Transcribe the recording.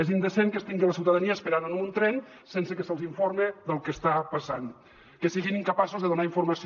és indecent que es tingui la ciutadania esperant en un tren sense que se’ls informi del que està passant que siguin incapaços de donar informació